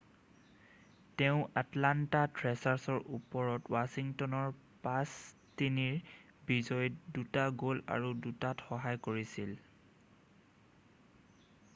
তেওঁ আটলান্ত থ্ৰেচাৰ্চৰ ওপৰত ৱাছিংটনৰ 5-3ৰ বিজয়ীত 2টা গ'ল আৰু 2টাত সহায় কৰিছিল।